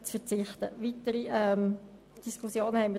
Dazu haben wir keine weiterführenden Diskussionen geführt.